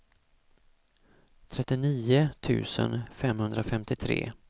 trettionio tusen femhundrafemtiotre